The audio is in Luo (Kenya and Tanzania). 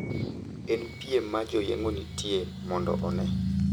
En piem ma joyeng`o nitie mondo one,